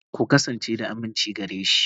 Ku kasance da aminci gare shi.